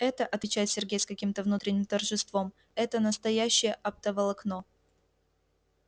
это отвечает сергей с каким-то внутренним торжеством это настоящее оптоволокно